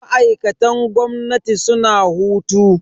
Ma'aikatan gwamnati suna hutu.